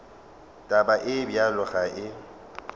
taba ye bjalo ga e